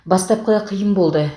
бастапқыда қиын болды